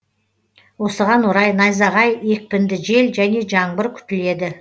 осыған орай найзағай екпінді жел және жаңбыр күтіледі